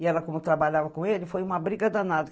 E ela, como trabalhava com ele, foi uma briga danada.